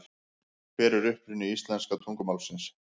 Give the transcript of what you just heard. Hver er uppruni íslenska tungumálsins?